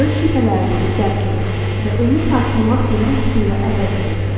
Öz şübhələrinizi dərk edin və onu sarsılmaz iman hissi ilə əvəz edin.